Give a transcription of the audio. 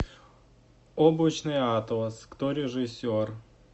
облачный атлас кто режиссер